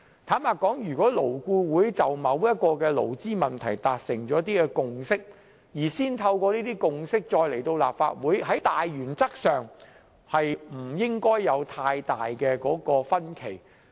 坦白說，如果勞顧會就某項勞資問題達成共識，再基於這些共識把建議提交立法會，在大原則上理應不會有太大分歧。